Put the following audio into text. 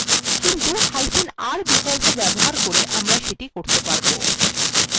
কিন্তুr বিকল্প ব্যবহার করে আমরা এটা করতে পারব